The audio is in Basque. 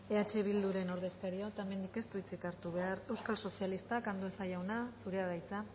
eh bildu ordezkariak otamendik ez du hitzik hartu behar euskal sozialistak andueza jauna zurea da hitza